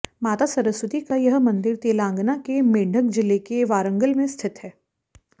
माता सरस्वती का यह मंदिर तेलंगाना के मेंढक जिले के वारंगल में स्थित है